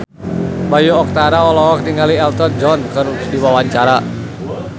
Bayu Octara olohok ningali Elton John keur diwawancara